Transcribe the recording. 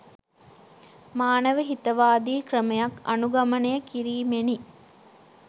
මානව හිතවාදී ක්‍රමයක් අනුගමනය කිරීමෙනි